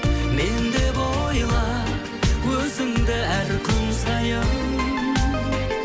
мен деп ойла өзіңді әр күн сайын